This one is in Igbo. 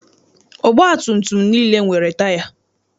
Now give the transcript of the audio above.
Ọgbatumtum niile nwere taya.